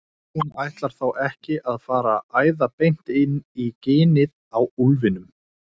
Hún ætlar þó ekki að fara að æða beint inn í ginið á úlfinum!